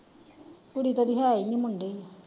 ਕੁੜੀ ਤੇ ਓਹਦੀ ਹੈ ਹੀ ਨੀ ਮੁੰਡੇ ਹੀ ਨੇ।